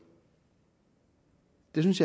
jeg synes